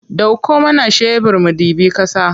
Ɗauko mana shebir mu ɗibi ƙasa.